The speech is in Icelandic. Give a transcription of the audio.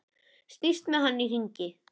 Snýst með hann í hringi.